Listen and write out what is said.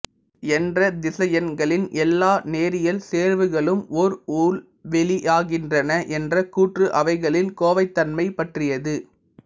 என்ற திசையன்களின் எல்லா நேரியல் சேர்வுகளும் ஓர் உள்வெளி யாகின்றன என்ற கூற்று அவைகளின் கோவைத்தன்மை பற்றியது